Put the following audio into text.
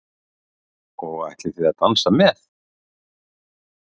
Og ætlið þið að dansa með?